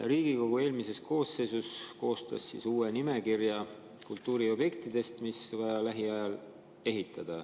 Riigikogu eelmine koosseis koostas uue nimekirja kultuuriobjektidest, mida on vaja lähiajal ehitada.